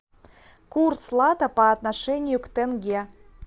курс лата по отношению к тенге